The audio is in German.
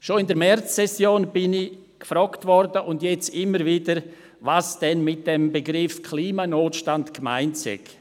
Schon in der Märzsession wurde ich gefragt und jetzt immer wieder, was denn mit dem Begriff «Klimanotstand» gemeint sei.